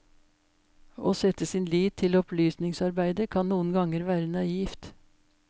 Å sette sin lit til opplysningsarbeide kan noen ganger være naivt.